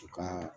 U ka